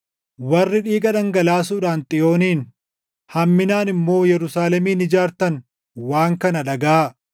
warri dhiiga dhangalaasuudhaan Xiyoonin, hamminaan immoo Yerusaalemin ijaartan waan kana dhagaʼaa.